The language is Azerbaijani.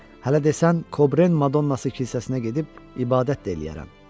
Hələ desən Kobren Madonnası kilsəsinə gedib ibadət də eləyərəm.